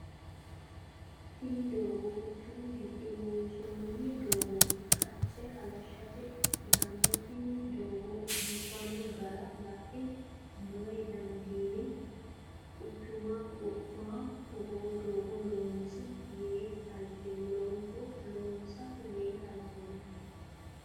Tinni doogo quchumu gido loonsoonni doogote qace halashete ikitanna tinni doogo biifino gara lae mayi dandiine quchuma wo'maho togoo doogo loonsa yee halchoomo.